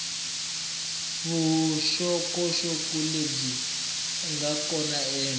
vuxokoxoko lebyi nga kona eka